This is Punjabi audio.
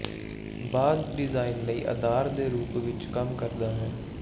ਬਾਅਦ ਡਿਜ਼ਾਇਨ ਲਈ ਅਧਾਰ ਦੇ ਰੂਪ ਵਿੱਚ ਕੰਮ ਕਰਦਾ ਹੈ